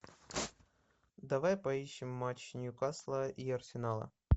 давай поищем матч ньюкасла и арсенала